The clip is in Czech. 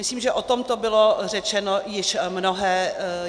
Myslím si, že o tomto bylo řečeno již mnohé.